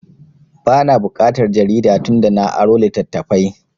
Ba na buƙatar jarida tun da na aro littattafai